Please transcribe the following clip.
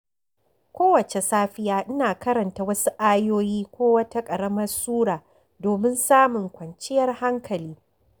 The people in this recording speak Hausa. Kowace safiya, ina karanta wasu ayoyi ko wata ƙaramar sura domin samun kwanciyar hankali.